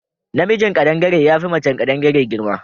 Na mijin kaɗangare yafi macen kadangare girma